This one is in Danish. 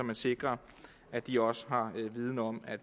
man sikrer at de også har viden om at